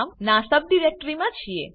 ના સબડિરેક્ટરી મા છીએ